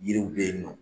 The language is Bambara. Yiriw bɛ yen nɔ